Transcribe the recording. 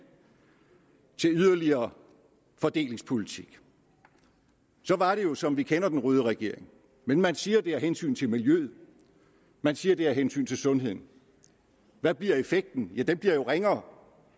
til yderligere fordelingspolitik var det jo som vi kender den røde regering men man siger at det er af hensyn til miljøet man siger at det er af hensyn til sundheden hvad bliver effekten ja den bliver jo ringere